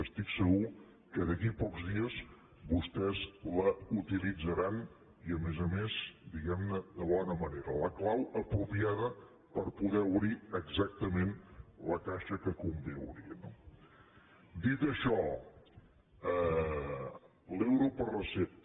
estic segur que d’aquí a pocs dies vostès la utilitzaran i a més a més diguem ne de bona manera la clau apropiada per poder obrir exactament la caixa que convé obrir no dit això l’euro per recepta